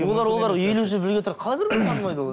олар олар елу жыл бірге тұрады қалай бір бірін танымайды олар